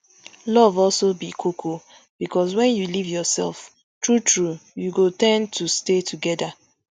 love also be koko bicos wen you live yourself truetrue you go ten d to stay togeda